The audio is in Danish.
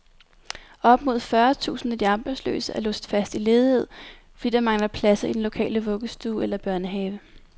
Op mod fyrre tusind af de arbejdsløse er låst fast i ledighed, fordi der mangler pladser i den lokale vuggestue eller børnehave.